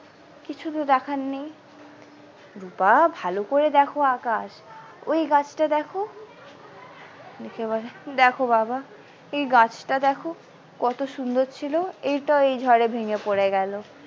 কিছু তো দেখার নেই রুপা ভালো করে দ্যাখো আকাশ ওই গাছটা দ্যাখো দেখে বলে দেখে বাবা এই গাছটা দ্যাখো এই গাছটা দেখো কত সুন্দর ছিল এটাও এই ঝড় এ ভেঙে পরে গেল।